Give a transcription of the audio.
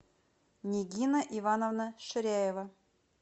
нигина ивановна ширяева